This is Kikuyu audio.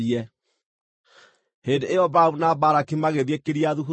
Hĩndĩ ĩyo Balamu na Balaki magĩthiĩ Kiriathu-Huzothu.